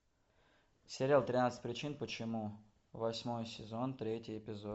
сериал тринадцать причин почему восьмой сезон третий эпизод